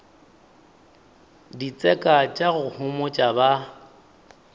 ditseka tša go homotša ba